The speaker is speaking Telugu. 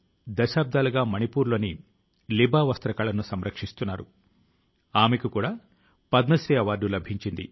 ఈ బాధ్యత తో మనం 2022వ సంవత్సరం లోకి ప్రవేశించవలసి ఉన్నది